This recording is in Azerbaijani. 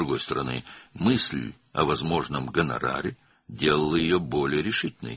Amma digər tərəfdən, mümkün qonarar fikri onu daha qətiyyətli edirdi.